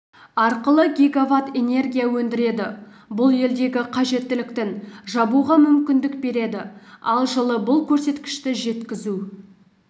арқылы гигаватт энергия өндіреді бұл елдегі қажеттіліктің жабуға мүмкіндік береді ал жылы бұл көрсеткішті жеткізу